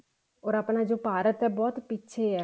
or ਆਪਣਾ ਜੋ ਭਾਰਤ ਹੈ ਬਹੁਤ ਪਿੱਛੇ ਹੈ